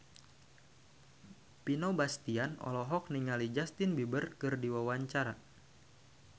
Vino Bastian olohok ningali Justin Beiber keur diwawancara